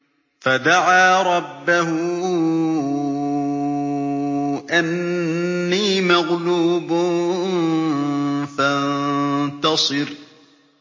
فَدَعَا رَبَّهُ أَنِّي مَغْلُوبٌ فَانتَصِرْ